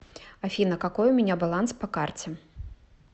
афина какой у меня баланс по карте